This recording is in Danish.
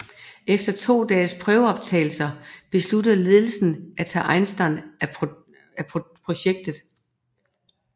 Efter to dages prøveoptagelser besluttede ledelsen af tage Eisenstein af projektet